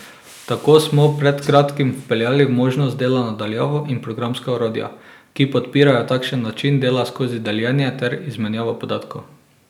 Tako smo pred kratkim vpeljali možnost dela na daljavo in programska orodja, ki podpirajo takšen način dela skozi deljenje ter izmenjavo podatkov.